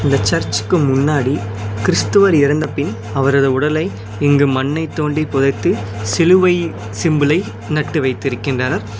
இந்த சர்ச்சுக்கு முன்னாடி கிறிஸ்தவர் இறந்தபின் அவரது உடலை இங்கு மண்ணை தோண்டி புதைத்து சிலுவை சிம்பலை நட்டு வைத்திருக்கின்றனர்.